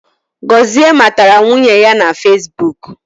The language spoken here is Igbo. Gozie matara nwunye ya na fesibuk